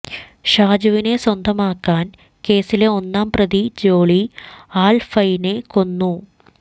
ഷാജുവിനെ സ്വന്തമാക്കാൻ കേസിലെ ഒന്നാം പ്രതി ജോളി ആൽഫൈനെ കൊന്നു